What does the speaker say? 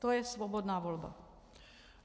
To je svobodná volba.